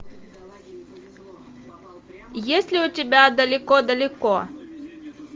есть ли у тебя далеко далеко